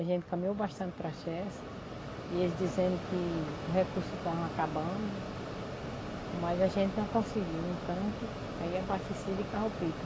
A gente caminhou bastante para a CHESP e eles dizendo que o recurso estavam acabando, mas a gente não conseguiu um tanque para ir abastecer de carro-pipa.